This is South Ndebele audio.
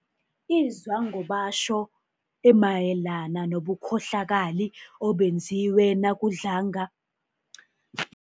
izwangobatjho emayelana nobukhohlakali obenziwe nakudlange